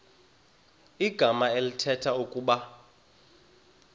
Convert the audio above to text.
igama elithetha ukuba